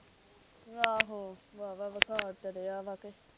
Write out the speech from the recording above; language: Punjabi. ਆਹੋ, ਵਾਵਾ ਬੁਖਾਰ ਚੜਿਆ ਵਾ ਕੇ।